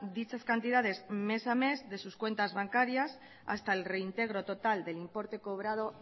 dichas cantidades mes a mes de sus cuentas bancarias hasta el reintegro total del importe cobrado